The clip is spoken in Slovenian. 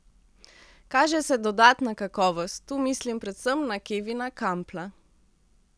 Kaže se dodatna kakovost, tu mislim predvsem na Kevina Kampla.